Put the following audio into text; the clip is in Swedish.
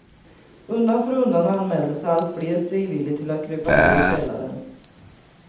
Undan för undan anmälde sig allt fler frivilligt till att krypa ner i källaren.